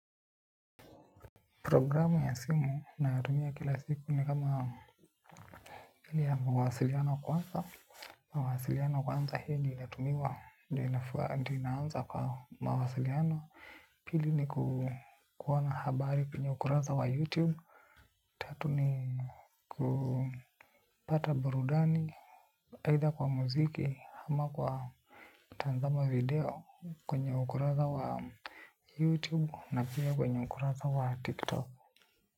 Programu ya simu na tumia kila siku ni kama hii ya mawasiliano kwanza. Mawasiliano kwanza hii na tumiwa ndio inaanza kwa mawasiliano pili ni kuona habari kwenye ukurasa wa youtube tatu ni kupata burudani Either kwa muziki ama kwa tazama video kwenye ukurasa wa youtube na pia kwenye ukurasa wa tiktok.